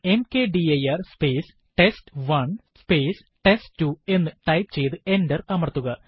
mkdir space test one space test two എന്ന് type ചെയ്തു enter അമർത്തുക